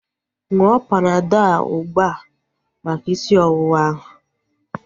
Ṅụọ Panadọl a ugbua maka isi ọwụwa ahu